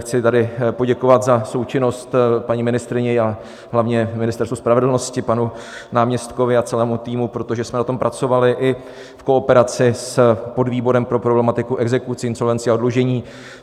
Chci tady poděkovat za součinnost paní ministryni, a hlavně Ministerstvu spravedlnosti, panu náměstkovi a celému týmu, protože jsme na tom pracovali i v kooperaci s podvýborem pro problematiku exekucí, insolvencí a oddlužení.